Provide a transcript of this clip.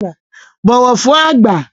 Bọ̀wọ̀ fún àgbà!